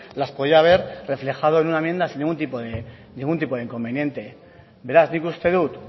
las podía haber reflejado en una enmienda sin ningún tipo de inconveniente beraz nik uste dut